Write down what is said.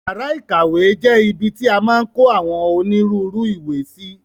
Yàrá ìkàwé jẹ́ ibi ti a maa n kó àwọn onírúurú ìwé sí.